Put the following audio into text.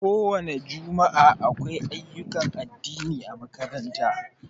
Ko wani jumua'a, akwai ayyukan addini ã makaranta.